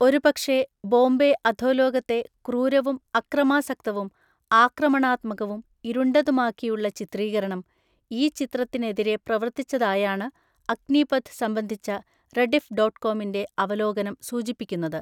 ഒരുപക്ഷേ, ബോംബെ അധോലോകത്തെ ക്രൂരവും അക്രമാസക്തവും ആക്രമണാത്മകവും ഇരുണ്ടതുമാക്കിയുള്ള ചിത്രീകരണം ഈ ചിത്രത്തിനെതിരെ പ്രവർത്തിച്ചതായാണ് അഗ്നീപഥ് സംബന്ധിച്ച റെഡിഫ് ഡോട്ട് കോമിൻ്റെ അവലോകനം സൂചിപ്പിക്കുന്നത്.